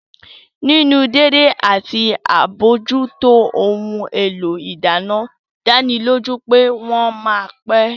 Nínú dédé àti àbójútó ohun èlò ìdáná dánilójú pé wọ́n ma pẹ́